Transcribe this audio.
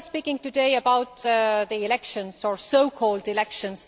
We are speaking today about the elections or so called elections